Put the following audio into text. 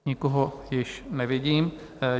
Nikoho již nevidím.